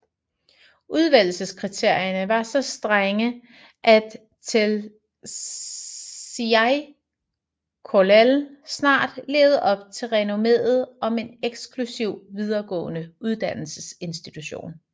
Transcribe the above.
Udvælgelseskriterierne var så strenge at Telšiai Kollel snart levede op til renommeet som en eksklusiv videregående uddannelsesinstitution